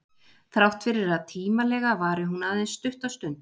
Þrátt fyrir að tímalega vari hún aðeins stutta stund.